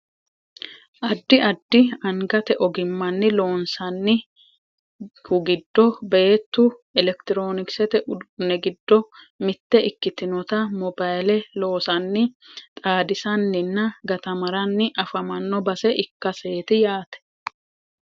addi addi angate ogimmanni loonsannih giddo beettu elekitiroonikisete uduunni giddo mitte ikkitinota mobayiile loosanni xaadisaninna gatamaranni afamanno base ikkaseeti yaate